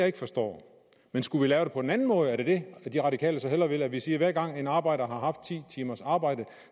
ikke forstår men skulle vi lave det på en anden måde er det det de radikale så hellere vil altså at vi siger at hver gang en arbejder har haft ti timers arbejde